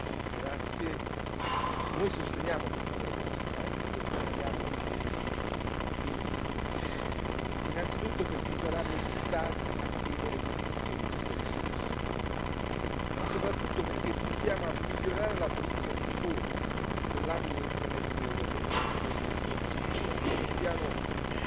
Signor Presidente, onorevoli colleghi, noi sosteniamo questa proposta, anche se vediamo tutti i rischi insiti, innanzitutto perché saranno gli Stati a chiedere l'utilizzo di queste risorse, ma soprattutto perché puntiamo a migliorare la politica di riforma nell'ambito del Semestre europeo, quello delle riforme strutturali sul piano